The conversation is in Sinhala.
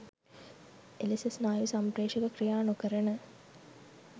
එලෙස ස්නායු සම්ප්‍රේෂක ක්‍රියා නොකරන